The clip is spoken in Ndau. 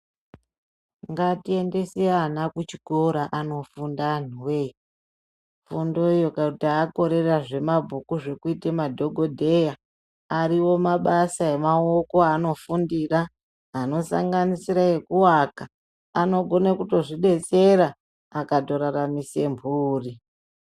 Ngatiendese ana kuchikora anofunda anhuwee, funduyo kuti akorera zvemabhuku zvekuita madhogodheya, ariyo mabasa emaoko aanofundira anosanganisire ekuaka anokone kutozvidetsera akatoraramise mburi.